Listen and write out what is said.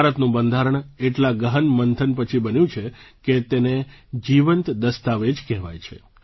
ભારતનું બંધારણ એટલા ગહન મંથન પછી બન્યું છે કે તેને જીવંત દસ્તાવેજ કહેવાય છે